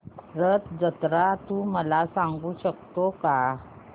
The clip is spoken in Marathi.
रथ जत्रा तू मला सांगू शकतो का